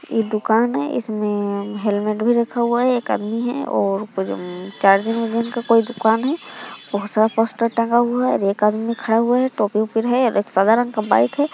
यह दुकान है इसमें हेलमेट भी रखा हुआ है एक आदमी है और ऊपर मे चार्जिंग उचार्जिंग का कोई दुकान है बहुत सारा पोस्टर टंगा हुआ है एक आदमी खड़ा हुआ है टोपी ओपीर है और एक सधारण का बाइक है।